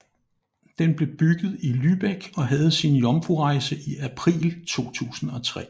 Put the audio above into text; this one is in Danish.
Den blev bygget i Lübeck og havde sin jomfrurejse i april 2003